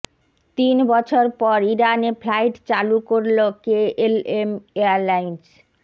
তিন বছর পর ইরানে ফ্লাইট চালু করল কেএলএম এয়ারলাইন্স